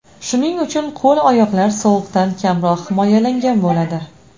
Shuning uchun qo‘l-oyoqlar sovuqdan kamroq himoyalangan bo‘ladi.